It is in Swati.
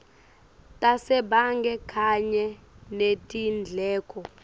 tasebhange kanye netindleko